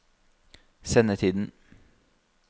sendetiden